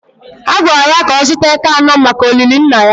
A gwara ya ka ọ zụta eke anọ maka olili Nna ya